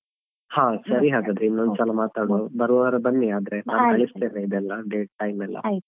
ಹಾ ಸರಿ ಹಾಗಾದ್ರೆ ಇನ್ನೊಂದು ಸಲ ಮಾತಾಡುವ ಬರುವವಾರ ಬನ್ನಿ ಆದ್ರೆ ನಾನ್ ಕಳಿಸ್ತೇನೆ ಇದೆಲ್ಲ date time ಎಲ್ಲಾ.